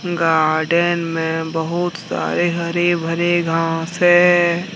Garden में बहुत सारे हरे भरे घास है।